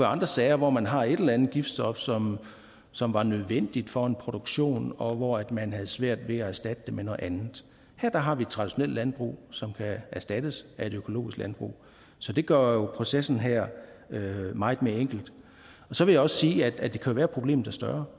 andre sager hvor man har et eller andet giftstof som som var nødvendigt for en produktion og hvor man havde svært ved at erstatte det med noget andet her har vi et traditionelt landbrug som kan erstattes af et økologisk landbrug så det gør jo processen her meget mere enkel så vil jeg også sige at det kan være at problemet er større